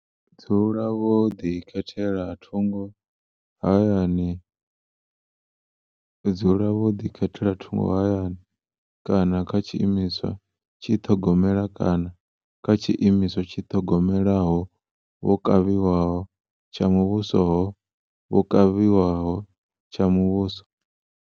Dzula vho ḓikhethela thungo hayani dzula vho ḓikhethela thungo hayani kana kha tshiimiswa tshi ṱhogomela kana kha tshiimiswa tshi ṱhogomelaho vho kavhiwaho tsha muvhuso ho vho kavhiwaho tsha muvhuso.